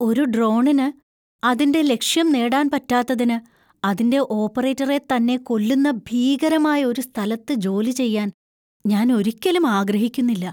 ഒരു ഡ്രോണിന് അതിന്‍റെ ലക്ഷ്യംനേടാന്‍ പറ്റാത്തതിനു അതിന്‍റെ ഓപ്പറേറ്ററെ തന്നെ കൊല്ലുന്ന ഭീകരമായ ഒരു സ്ഥലത്ത് ജോലി ചെയ്യാൻ ഞാൻ ഒരിക്കലും ആഗ്രഹിക്കുന്നില്ല.